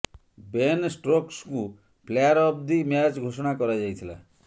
Ben ଷ୍ଟୋକ୍ସଙ୍କୁ player of the match ଘୋଷଣା କରାଯାଇଥିଲା